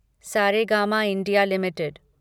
Saregama India limited